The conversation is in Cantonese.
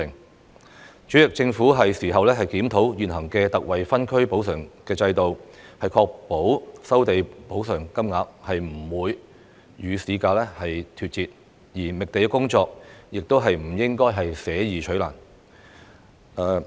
代理主席，政府應檢討現行的特惠分區補償制度，確保收地補償金額不會與市價脫節，而覓地工作亦不應捨易取難。